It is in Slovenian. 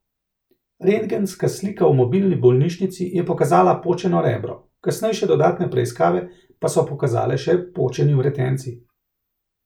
Rentgenska slika v mobilni bolnišnici je pokazala počeno rebro, kasnejše dodatne preiskave pa so pokazale še počeni vretenci.